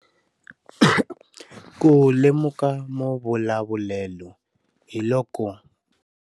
Ku lemuka mavulavulelo hi loko.